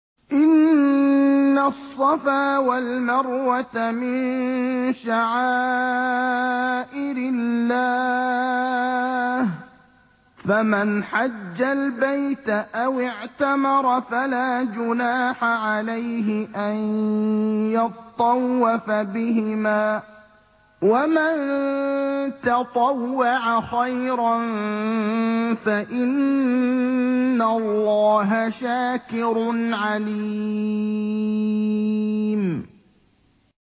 ۞ إِنَّ الصَّفَا وَالْمَرْوَةَ مِن شَعَائِرِ اللَّهِ ۖ فَمَنْ حَجَّ الْبَيْتَ أَوِ اعْتَمَرَ فَلَا جُنَاحَ عَلَيْهِ أَن يَطَّوَّفَ بِهِمَا ۚ وَمَن تَطَوَّعَ خَيْرًا فَإِنَّ اللَّهَ شَاكِرٌ عَلِيمٌ